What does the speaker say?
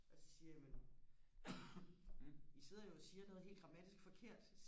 og så siger jeg jamen i sidder jo og siger noget helt grammatisk forkert